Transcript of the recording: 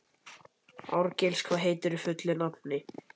Árgils, hvað heitir þú fullu nafni?